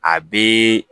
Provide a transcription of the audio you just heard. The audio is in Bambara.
A bɛ